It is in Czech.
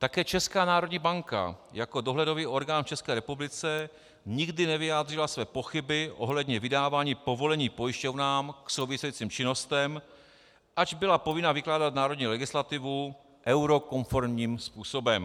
Také Česká národní banka jako dohledový orgán v České republice nikdy nevyjádřila své pochyby ohledně vydávání povolení pojišťovnám k souvisejícím činnostem, ač byla povinna vykládat národní legislativu eurokonformním způsobem.